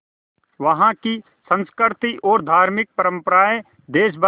वहाँ की संस्कृति और धार्मिक परम्पराएं देश भर